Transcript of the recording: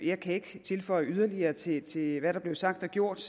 jeg kan ikke føje yderligere til til hvad der blev sagt og gjort